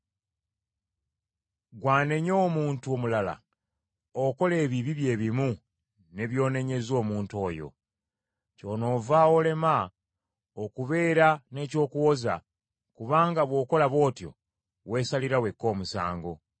Gwe anenya omuntu omulala, okola ebibi bye bimu ne by’onenyeza omuntu oyo. Kyonoova olema okubeera n’eky’okuwoza, kubanga bw’okola bw’otyo, weesalira wekka omusango.